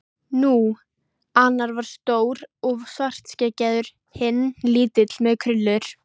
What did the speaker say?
Nú. annar var stór og svartskeggjaður. hinn lítill með krullur.